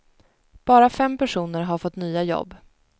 Bara fem personer har fått nya jobb.